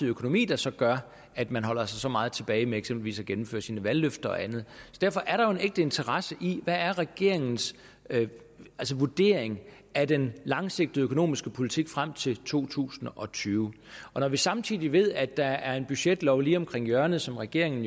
økonomi der så gør at man holder sig så meget tilbage med eksempelvis at gennemføre sine valgløfter og andet derfor er der en ægte interesse i at høre regeringens vurdering af den langsigtede økonomiske politik frem til to tusind og tyve og når vi samtidig ved at der er en budgetlov lige om hjørnet som regeringen